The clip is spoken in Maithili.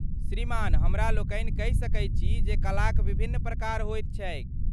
श्रीमान हमरा लोकनि कहि सकैत छी जे कलाक विभिन्न प्रकार होइत छैक।